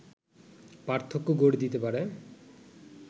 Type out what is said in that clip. পার্থক্য গড়ে দিতে পারে